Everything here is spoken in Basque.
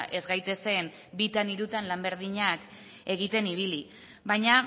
ez gaitezen bitan edo hirutan lan berdinak egiten ibili baina